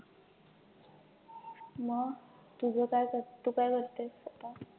मग तुझं काय तु काय करतेस आता